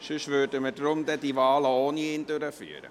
– Sonst würden wir die Wahlen ohne ihn durchführen.